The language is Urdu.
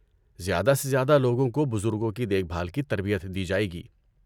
زیادہ سے زیادہ لوگوں کو بزرگوں کی دیکھ بھال کی تربیت دی جائے گی۔